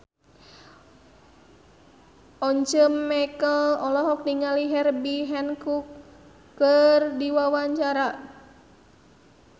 Once Mekel olohok ningali Herbie Hancock keur diwawancara